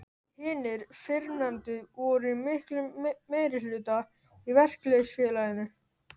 Hinir fyrrnefndu voru í miklum meirihluta í verkalýðsfélaginu.